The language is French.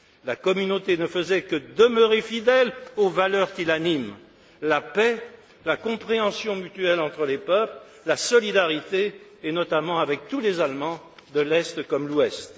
la Communauté ne faisait que demeurer fidèle aux valeurs qui l'animent la paix, la compréhension mutuelle entre les peuples, la solidarité, et notamment avec tous les Allemands, de l'Est comme de l'Ouest.